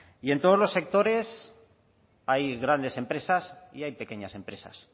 y en todos los sectores hay grandes empresas y hay pequeñas empresas